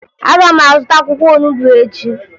Aga m azụta akwụkwọ onubo echi